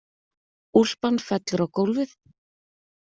Úlpan fellur á gólfið.